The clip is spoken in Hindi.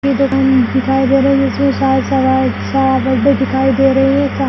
ये दुकान दिखाई दे रही है जिसमें